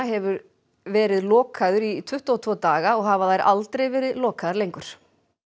hefur verið lokaður í tuttugu og tvo daga og hafa þær aldrei verið lokaðar lengur